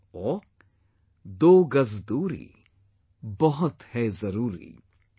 " or "Do Gaz Doori, Bahut Hai Zaroori